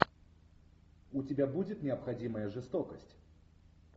у тебя будет необходимая жестокость